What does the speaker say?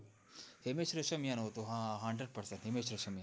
હિમેશ રેશમિયા નું હતું હા hundred percent હિમેશ રેશમિયા